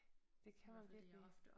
Det kan man virkelig